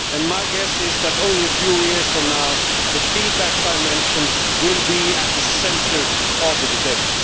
My guess is that, only a few years from now, the feedbacks I mentioned will be at the centre of the debate.